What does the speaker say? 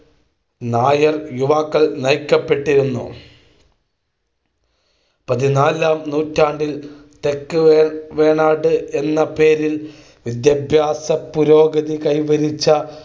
നായർ യുവാക്കൾ നയിക്കപ്പെട്ടിരുന്നു. പതിനാലാം നൂറ്റാണ്ടിൽ തെക്ക് വേണാട് എന്ന പേരിൽ വിദ്യാഭ്യാസപുരോഗതി കൈവരിച്ച